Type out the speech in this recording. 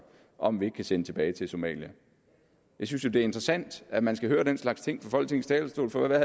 om at vi ikke kan sende tilbage til somalia jeg synes jo det er interessant at man skal høre den slags ting fra folketingets talerstol for hvad